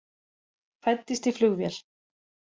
Fæddist í flugvél